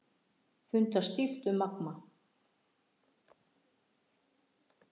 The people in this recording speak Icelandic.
Fundað stíft um Magma